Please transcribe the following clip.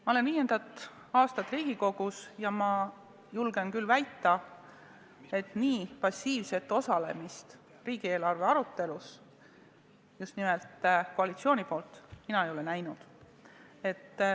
Ma olen viiendat aastat Riigikogus ja julgen küll väita, et nii passiivset osalemist riigieelarve arutelus, just nimelt koalitsiooni poolt, mina ei ole näinud.